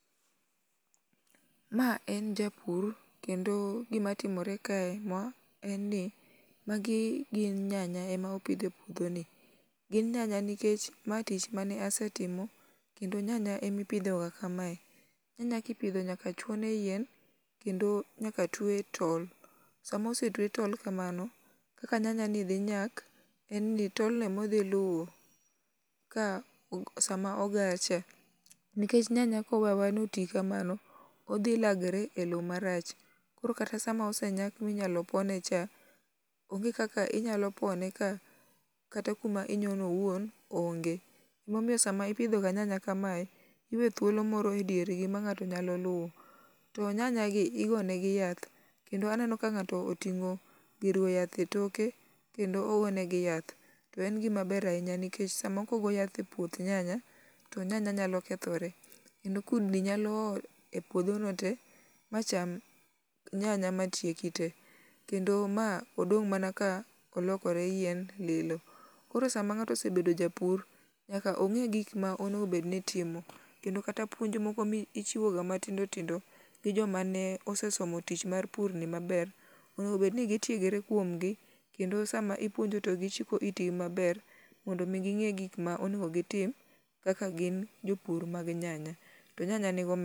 Ma en japur kendo gimatimore kae en ni magi gin nyanya ema oket e puodhoni, gin nyanya nikech mae tich mane asetimo, kendo nyanya emipidhoga kamae. Nyanya kipidho nyaka chuone yien kendo nyaka tuwe tol. Sama osetuwe tol kamano, kaka nyanyani dhi nyak, en ni tolni modhi luwo ka sama. Nikech nyanya kowe aweya noti kamano, odhi lagre e lowo marach, koro kata sam aosenyak minyalo pone cha, onge kaka inyalo pone ka kata kuma inyono owuon onge. Emomiyo sama ipidhoga nyanya kamae, iwe thulo moro e diergi ma ng'ato nyalo luwo, to nyanyagi igone negi yath kendo aneno ka ng'ato oting'o gir goyo yath e toke, kendo ogo negi yath, to en gimaber ahinya nikech samo kogoyo yath e puoth nyanya to nyanya nyalo kethore, kendo kudni nyalo o e puodhono te macham nyanya manitie kendo ma odong' mana ka olokore yien lilo. Koro sama ng'ato osebedo japur, nyaka ong'e gima onego obedni itimo, kendo kata puonj moko michiwoga matindo tindo, gi joma ne osesomo tich mar purni maber, onego obedni gitiegre kuomgi kendo sama ipuonjo to gichiko itgi maber mondo omi ging'e gik ma onego gitim kaka gin jopur mag nyanya. To nyanya nigi omenda.